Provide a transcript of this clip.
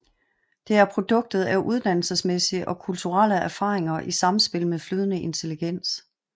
Det er produktet af uddannelsesmæssige og kulturelle erfaringer i samspil med flydende intelligens